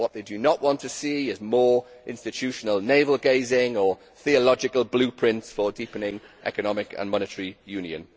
What they do not want to see is more institutional navel gazing or theological blueprints for deepening economic and monetary union.